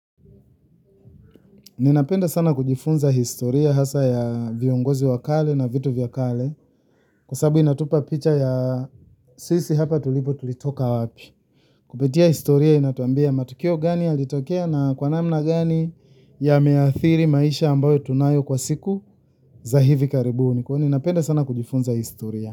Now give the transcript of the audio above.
Ninapenda sana kujifunza historia hasa ya viongozi wakale na vitu vyakale. Kwa sababu inatupa picha ya sisi hapa tulipo tulitoka wapi. Kupitia historia inatuambia matukio gani yalitokea na kwa namna gani ya meathiri maisha ambayo tunayo kwa siku za hivi karibuni kwa hiyo napenda sana kujifunza historia.